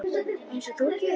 Einsog þú gerir?